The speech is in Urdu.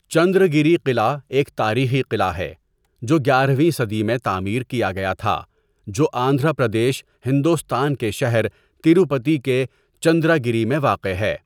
چندراگیری قلعہ ایک تاریخی قلعہ ہے، جو گیارہ ویں صدی میں تعمیر کیا گیا تھا جو آندھرا پردیش، ہندوستان کے شہر تروپتی کے چندراگری میں واقع ہے۔